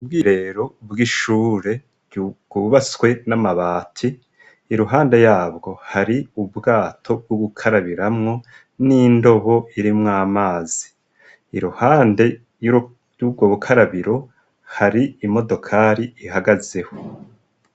Ubwireherero bw'ishure wubaswe n'amabati iruhande yabwo hari ubwato bwo gukarabiramwo n'indobo iri mw amazi iruhande y'ubwo bukarabiro hari imodokari ihagazeho.